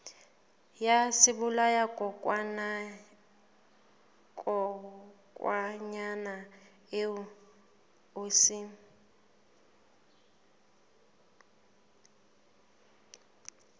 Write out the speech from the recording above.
ya sebolayakokwanyana seo o se